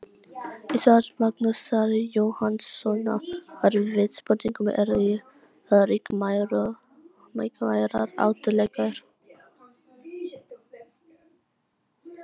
Hún gat ekki betur séð en að þetta væri löng ör sem vísaði undir borðplötuna.